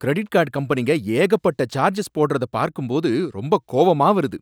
Credit card கம்பெனிங்க ஏகப்பட்ட charges போடுறத பார்க்கும்போது ரொம்ப கோவமா வருது.